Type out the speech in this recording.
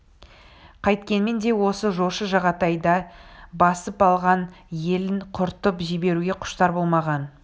қайткенмен де осы жошы жағатайдай басып алған елін құртып жіберуге құштар болмаған